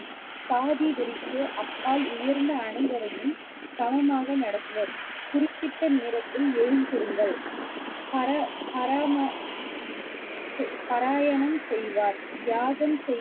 சாதி வெறிக்கு அப்பால் உயர்ந்த அனைவரையும் சமமாக நடத்துவர் குறிப்பிட்ட நேரத்தில் எழுந்திருங்கள் பர~ பரம~ பாராயணம் செய்வார் யாகம்